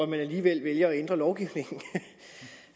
man alligevel vælger at ændre lovgivningen